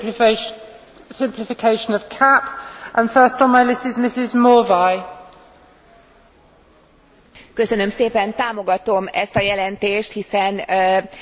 Támogatom ezt a jelentést, hiszen leegyszerűsíti azt a hatalmas mennyiségű adminisztratív és bürokratikus terhet, ami jelenleg a gazdálkodókon van.